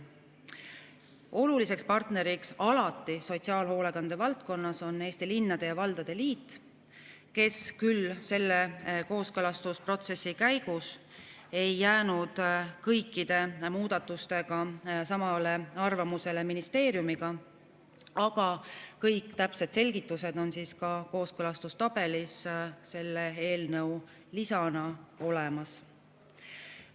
Oluliseks partneriks sotsiaalhoolekande valdkonnas on alati Eesti Linnade ja Valdade Liit, kes küll selle kooskõlastusprotsessi käigus ei jäänud kõikide muudatuste puhul samale arvamusele kui ministeerium, aga kõik täpsed selgitused on kooskõlastustabelis selle eelnõu lisana olemas.